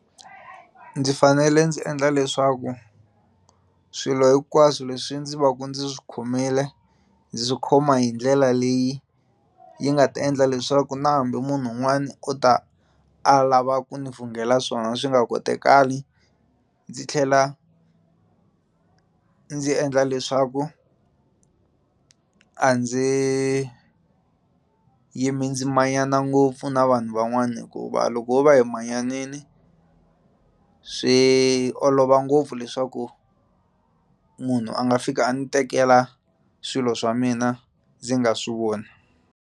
Ndzi fanele ndzi endla leswaku swilo hinkwaswo leswi ndzi va ku ndzi khomile ndzi swi khoma hi ndlela leyi yi nga ta endla leswaku na hambi munhu un'wani o ta a lava ku ni vhungela swona swi nga kotekali ndzi tlhela ndzi endla leswaku a ndzi yimi ndzi manyana ngopfu na vanhu van'wana hikuva loko ho va hi manyanini swi olova ngopfu leswaku munhu a nga fika a ndzi tekela swilo swa mina ndzi nga swi voni.